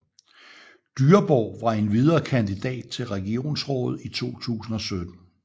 Dyreborg var endvidere kandidat til regionsrådet i 2017